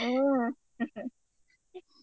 ಹ್ಮ